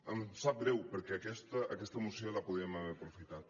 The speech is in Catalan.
em sap greu perquè aquesta moció la podíem haver aprofitat